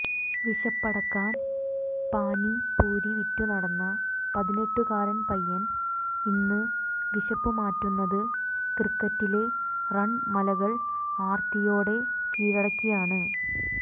വിശപ്പടക്കാൻ പാനി പൂരി വിറ്റു നടന്ന പതിനെട്ടുകാരൻ പയ്യൻ ഇന്ന് വിശപ്പുമാറ്റുന്നത് ക്രിക്കറ്റിലെ റൺമലകൾ ആർത്തിയോടെ കീഴടക്കിയാണ്